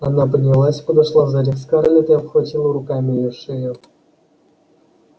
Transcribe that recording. она поднялась подошла сзади к скарлетт и обхватила руками её шею